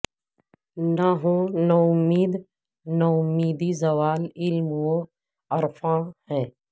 نہ ہو نومید نومیدی زوال علم و عرفاں ہے